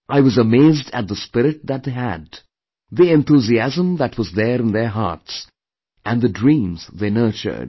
I was amazed at the spirit that they had, the enthusiasm that was there in their hearts and the dreams they nurtured